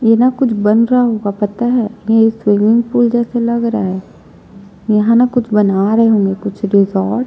ये ना कुछ बन रहा होगा पता है ये स्विमिंग पूल जैसे लग रहा है यहाँ ना कुछ बना रहै होंगे कुछ रिसोर्ट --